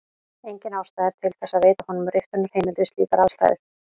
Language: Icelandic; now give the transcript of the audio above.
Engin ástæða er til þess að veita honum riftunarheimild við slíkar aðstæður.